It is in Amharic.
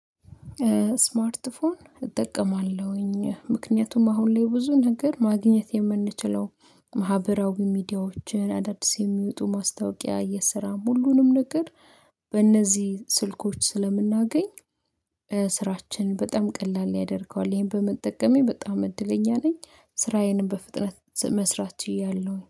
ስማርት ስልክ እጠቀማለሁኝ ምክንያቱም አሁን ላይ ብዙ ነገር ማግኘት የምንችለው ማህበራዊ ሚዲያዎችን አዳዲስ የሚወጡ ማስታወቂያ የሰራም ሁሉንም ነገር በእነዚህ ስልኮች ስለምናገኝ ስራችን በጣም ቀላል ያደርገዋል ይሄን በመጠቀሜ በጣም እድለኛ ነኝ። ስራዬን በፍጥነት መስራት ችያለሁ